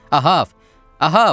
Ahav, Ahav!